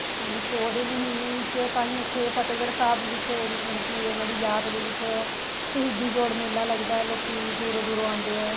ਹਾਂਜੀ ਪੋਹ ਦੇ ਮਹੀਨੇ ਵਿੱਚ ਤਾਹੀ ਉੱਥੇ ਫਤਿਹਗੜ੍ਹ ਸਾਹਿਬ ਵਿੱਚ ਮਤਲਬ ਕੀ ਉਹਨਾ ਦੀ ਯਾਦ ਦੇ ਵਿੱਚ ਸ਼ਹੀਦੀ ਜੋੜ ਮੇਲਾ ਲੱਗਦਾ ਹੈ ਲੋਕੀਂ ਦੂਰੋ ਦੂਰੋ ਆਉਦੇ ਹੈ